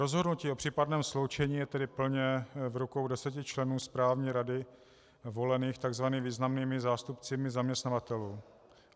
Rozhodnutí o případném sloučení je tedy plně v rukou deseti členů správní rady volených tzv. významnými zástupci zaměstnavatelů.